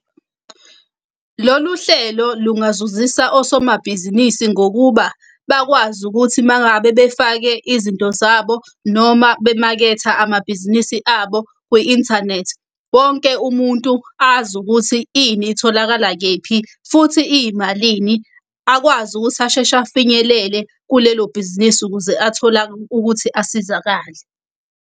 Lolu hlelo lungazuzisa osomabhizinisi ngokuba bakwazi ukuthi uma ngabe befake izinto zabo noma bemaketha amabhizinisi abo kwi-inthanethi, wonke umuntu azi ukuthi ini itholakala kephi, futhi iyimalini. Akwazi ukuthi asheshe afinyelele kulelo bhizinisi ukuze athola ukuthi asizakale.